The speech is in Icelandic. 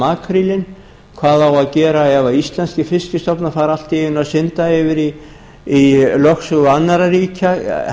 makrílinn hvað á að gera ef íslenskir fiskstofna fara allt í einu að synda yfir í lögsögu annarra ríkja